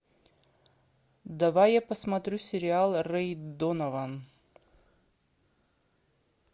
давай я посмотрю сериал рэй донован